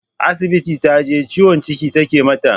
Asibiti taje, ciwon ciki take mata.